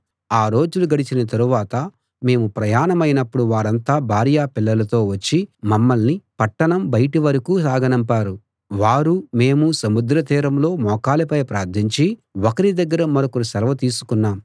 ఆ రోజులు గడిచిన తరువాత మేము ప్రయాణమైనప్పుడు వారంతా భార్యా పిల్లలతో వచ్చి మమ్మల్ని పట్టణం బయటి వరకూ సాగనంపారు వారూ మేమూ సముద్రతీరంలో మోకాళ్ళపై ప్రార్థించి ఒకరి దగ్గర మరొకరు సెలవు తీసుకున్నాం